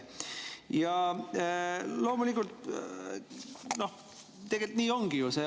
Ja loomulikult, tegelikult nii ongi ju.